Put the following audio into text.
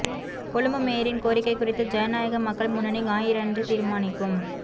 கொழும்பு மேயரின் கோரிக்கை குறித்து ஜனநாயக மக்கள் முன்னணி ஞாயிறன்று தீர்மானிக்கும்